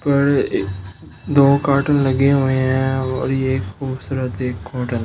ऊपर ये दो कार्टून लगे हुए हैं और ये खूबसूरत एक होटल --